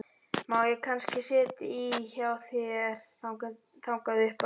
Má ég kannski sitja í hjá þér þangað upp eftir?